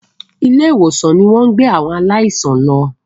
ilé ìwòsan ní wón gbé àwọn aláìsàn ló.